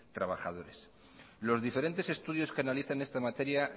trabajadores los diferentes estudios que analizan esta materia